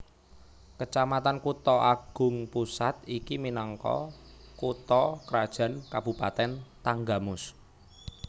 Kecamatan Kutha Agung Pusat iki minangka kutha krajan Kabupatèn Tanggamus